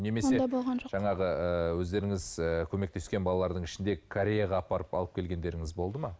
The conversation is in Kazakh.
немесе жаңағы ыыы өздеріңіз ы көмектескен балалардың ішінде кореяға апарып алып келгендеріңіз болды ма